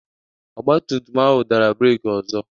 ọgbatumtum ahụ dara breeki ọzọ